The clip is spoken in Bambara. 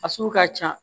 A sugu ka ca